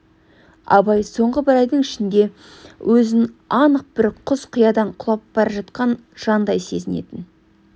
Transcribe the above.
абай соңғы бір айдың ішінде өзін анық бір құз-қиядан құлап бара жатқан жандай сезінетін